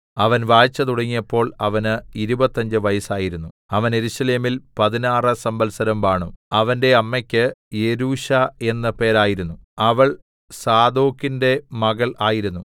അവൻ വാഴ്ച തുടങ്ങിയപ്പോൾ അവന് ഇരുപത്തഞ്ച് വയസ്സായിരുന്നു അവൻ യെരൂശലേമിൽ പതിനാറ് സംവത്സരം വാണു അവന്റെ അമ്മക്ക് യെരൂശാ എന്ന് പേരായിരുന്നു അവൾ സാദോക്കിന്റെ മകൾ ആയിരുന്നു